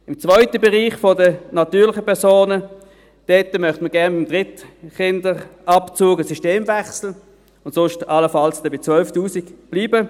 Im zweiten Bereich der natürlichen Personen möchten wir gerne beim Kinderdrittbetreuungsabzug einen Systemwechsel und sonst dann allenfalls bei 12 000 Franken bleiben.